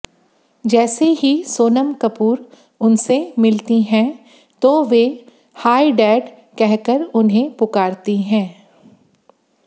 जैसे ही सोनम कपूर उनसे मिलती हैं तो वे हाई डैड कहकर उन्हें पुकारती हैं